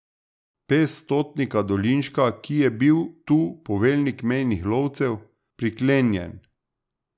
Pes stotnika Dolinška, ki je bil tu poveljnik mejnih lovcev, priklenjen.